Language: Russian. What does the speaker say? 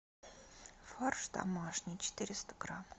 фарш домашний четыреста грамм